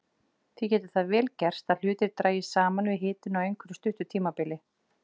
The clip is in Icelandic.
Því getur það vel gerst að hlutir dragist saman við hitun á einhverju stuttu hitabili.